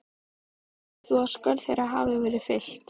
Telur þú að skörð þeirra hafi verið fyllt?